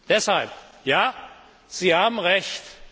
Deshalb Ja, Sie haben Recht!